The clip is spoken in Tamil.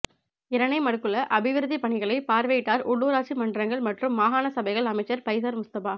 இரணைமடுக்குள அபிவிருத்திப் பணிகளைப் பார்வையிட்டார் உள்ளூராட்சி மன்றங்கள் மற்றும் மாகாண சபைகள் அமைச்சர் பைசர் முஸ்தபா